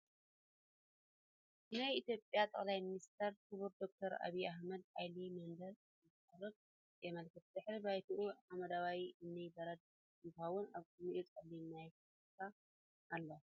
ንይ ኢትዮጵያ ጠቅላይ ሚኒስተር ክቡር ዶክተር ኣብይ ኣሕመድ ዓሊ መደረ እንተቅርቡ የመላክት ። ድሕረ ባይታኡ ሓመደዋይ እምነ በረድ እንትክውን ኣብ ቅድሚኡ ፀሊም ማይክ ኣሎ ።